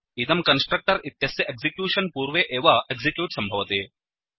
इदं कन्स्ट्रक्टर् इत्यस्य एक्सिक्यूशन् पूर्वे एव एक्सिक्यूट् सम्भवति